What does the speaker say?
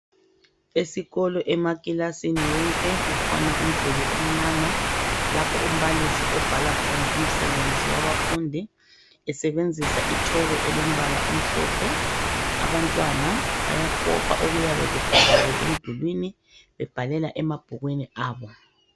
Esikolo emakilasini wonke kukhona umduli omnyama lapho umbalisi obhala khona umsebenzi wabafundi esebenzisa itshoko elombala omhlophe abantwana bayakopa okuyabe kubhaliwe emdulwini bebhalela emabhukwini abo .